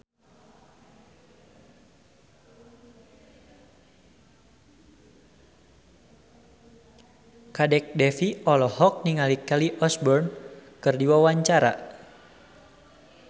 Kadek Devi olohok ningali Kelly Osbourne keur diwawancara